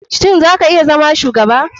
Shin za ka iya zama shugaba?